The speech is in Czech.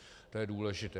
To je důležité.